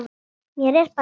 Mér er bara kalt.